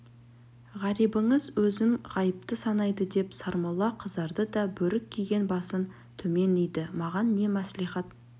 ғарибыңыз өзін ғайыпты санайды деп сармолла қызарды да бөрік киген басын төмен иді маған не мәслихат